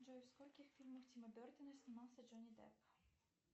джой в скольких фильмах тима бертона снимался джони депп